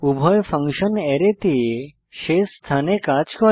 উভয় ফাংশন অ্যারেতে শেষ স্থানে কাজ করে